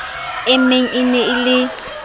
e meng e ne e